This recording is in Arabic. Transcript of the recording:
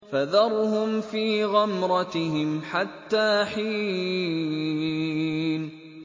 فَذَرْهُمْ فِي غَمْرَتِهِمْ حَتَّىٰ حِينٍ